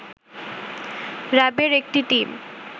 র‌্যাবের একটি টিম